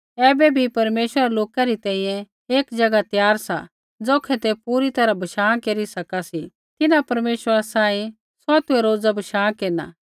ऐबै बी परमेश्वरा रै लोका री तैंईंयैं एक ज़ैगा त्यार सा ज़ौखै तै पूरी तैरहा बशाँ केरी सका सी तिन्हां परमेश्वरा सांही सौतुऐ रोज़ बशाँ केरना